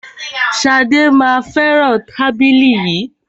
Ṣadé má a fẹràn tábìlì yìí.